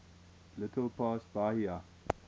little past bahia